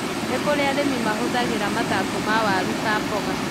Nĩ kũrĩ arĩmi mahũthagĩra mathangũ ma waru ta mboga.